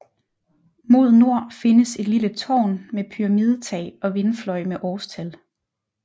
Mod nord findes et lille tårn med pyramidetag og vindfløj med årstal